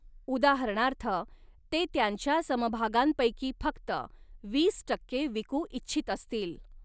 उदाहरणार्थ, ते त्यांच्या समभागांपैकी फक्त वीस टक्के विकू इच्छित असतील.